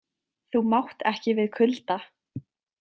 Þú mátt ekki við kulda.